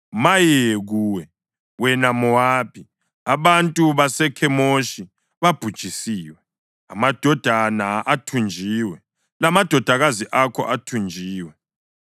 Maye kuwe! wena Mowabi! Abantu baseKhemoshi babhujisiwe; amadodana athunjiwe lamadodakazi akho athunjiwe.